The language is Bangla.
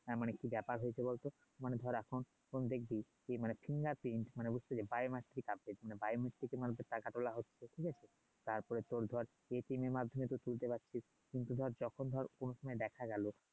হ্যাঁ মানে কি ব্যাপার হইছে বল তো মানে ধর এখন এখন দেখবি মানে মানে হচ্ছে য আছে মানে কে মানুষের টাকা তোলা হচ্ছে ঠিক আছে তারপরে তোর ধর যে এর মাধ্যমে তুই তুলতে পারছিস ধর যখন ধর কোন সময় দেখা গেলো